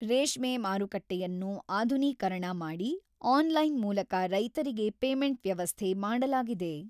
ರೇಷ್ಮೆ ಮಾರುಕಟ್ಟೆಯನ್ನು ಅಧುನೀಕರಣ ಮಾಡಿ, ಅನ್ ಲೈನ್ ಮೂಲಕ ರೈತರಿಗೆ ಪೇಮೆಂಟ್ ವ್ಯವಸ್ಥೆ ಮಾಡಲಾಗಿದೆ.